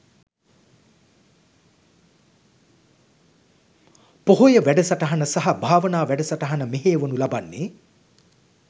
පොහොය වැඩසටහන සහ භාවනා වැඩසටහන මෙහෙයවනු ලබන්නේ